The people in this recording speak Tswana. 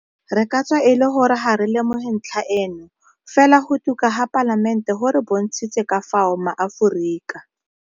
Re ka tswa e le gore ga re lemoge ntlha eno, fela go tuka ga Palamente go re bontshitse ka fao maAforika.